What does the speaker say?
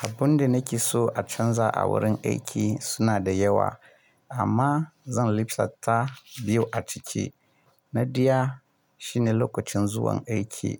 Abun da nake so a canza a wurin aiki suna da yawa amma zan lipsata biyu a ciki. Na ɗaya shine lokacin zuwan aiki.